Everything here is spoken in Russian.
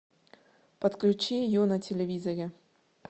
подключи ю на телевизоре